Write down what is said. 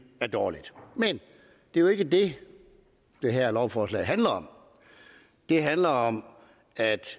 er dårligt men det er jo ikke det det her lovforslag handler om det handler om at